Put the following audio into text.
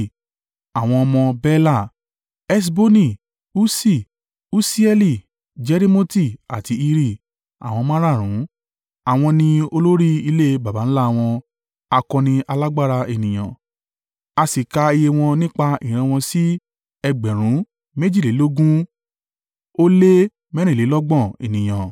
Àwọn ọmọ Bela: Esboni, Ussi, Usieli, Jerimoti àti Iri, àwọn márààrún. Àwọn ni olórí ilé baba ńlá wọn, akọni alágbára ènìyàn. A sì ka iye wọn nípa ìran wọn sí ẹgbẹ̀rún méjìlélógún ó lé mẹ́rìnlélọ́gbọ̀n (22,034) ènìyàn.